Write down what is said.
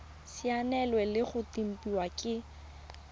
saenilwe le go tempiwa ke